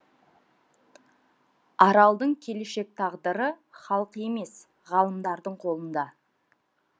аралдың келешек тағдыры халық емес ғалымдардың қолында